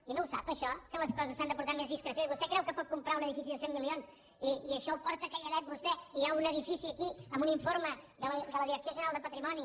i no ho sap això que les coses s’han de portar amb més discreció i vostè creu que pot comprar un edifici de cent milions i això ho porta calladet vostè i hi ha un edifici aquí amb un informe de la direcció general de patrimoni